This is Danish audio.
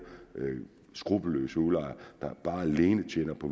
skruppelløse udlejere der alene tjener på